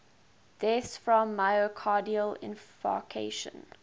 deaths from myocardial infarction